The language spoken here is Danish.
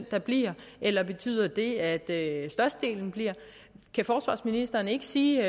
der bliver eller betyder det at det at størstedelen bliver kan forsvarsministeren ikke sige